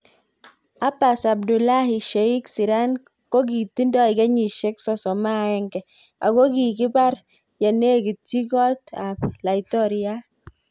Abas Abdullahi Sheikh Sirank kokitindoi kenyishek 31 akokikipar yenekitchi kot ap. Laitoriat.